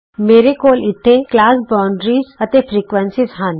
ਮੇਰੇ ਕੋਲ ਇਥੇ ਕਲਾਸ ਬਾਉਂਡਰੀਜ਼ ਅਤੇ ਫ੍ਰੀਕੁਏਂਸੀਜ਼ ਹਨ